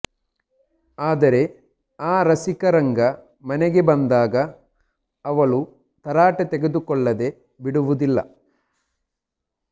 ಆದರೆ ಆ ರಸಿಕರಂಗ ಮನೆಗೆ ಬಂದಾಗ ಅವಳು ತರಾಟೆಗೆ ತೆಗೆದುಕೊಳ್ಳದೆ ಬಿಡುವುದಿಲ್ಲ